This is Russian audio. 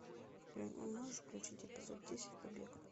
можешь включить эпизод десять побег